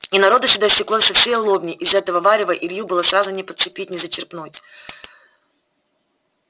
и народу сюда стеклось со всей лобни из этого варева илью было сразу не подцепить не зачерпнуть